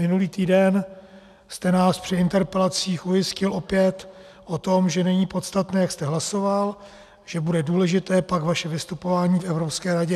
Minulý týden jste nás při interpelacích ujistil opět o tom, že není podstatné, jak jste hlasoval, že bude důležité pak vaše vystupování v Evropské radě.